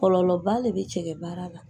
Kɔlɔlɔba de bɛ cɛkɛ baara la!